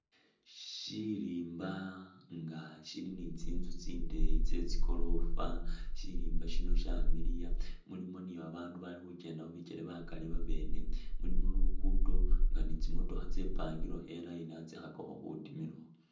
Syilimba nga sili tsinzu tsindeeyi tse tsigorofa, sirimba sino syamiliya mulimu ni abaandu bali khukenda khu bikele bakali babene, mulimu luguudo nga ni tsimotokha tsepangilekho i'line khatsikhakakho khutima.